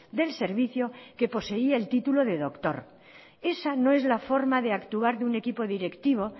del servicio que poseía el título de doctor esa no es la forma de actuar de un equipo directivo